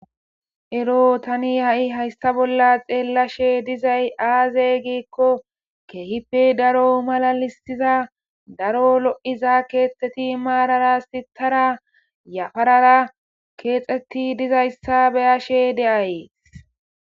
Ero tani haysa bolla xelashe dizays aze giiko kehipe daro malalisida daro lo'iza kethati mara mara yaparara kexeti dizayisa be'ashe de'ays